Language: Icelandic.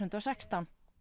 og sextán